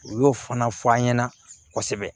U y'o fana fɔ an ɲɛna kosɛbɛ